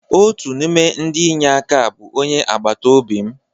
Otu n'ime ndị inye aka a bụ onye agbata obi m.